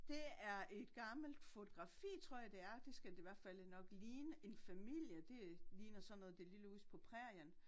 Det er et gammelt fotografi tror jeg det er det skal det i hvert faldet nok ligne en familie det ligner sådan noget det lille hus på prærien